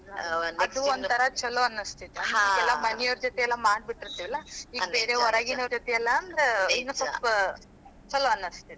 ಛಲೋ ಅನಸ್ತಿತ್ತ, ಮನಿ ಅವರ ಜೊತೆ ಎಲ್ಲಾ ಮಾಡ್ಬಿಟ್ಟಿರ್ತಿವಲ್ಲ ಬೇರೆ ಹೊರಗಿನವರ್ ಜೊತೆ ಇನ್ನೂ ಸ್ವಲ್ಪ ಛಲೋ ಅನಸ್ತೈತಿ.